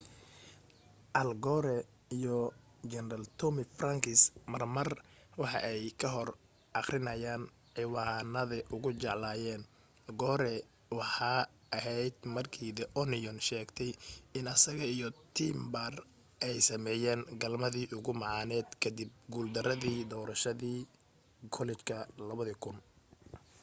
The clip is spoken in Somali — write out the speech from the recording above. al gore iyo general tommy franks mar mar waxa ay kor ka aqrinayaan ciwanade ugu jeclaayen gore waxee aheyd markii the onion sheegtay in asaga iyo tipper ay sameynayeen galmadii ugu macaaned kadib guul daradii doorashadii kollejka 2000